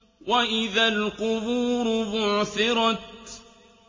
وَإِذَا الْقُبُورُ بُعْثِرَتْ